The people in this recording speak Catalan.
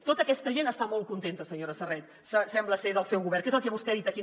tota aquesta gent està molt contenta senyora serret sembla ser del seu govern que és el que vostè ha dit aquí